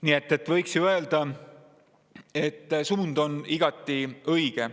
Nii et võiks ju öelda, et suund on igati õige.